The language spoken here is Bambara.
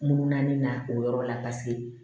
Munna ni na o yɔrɔ la paseke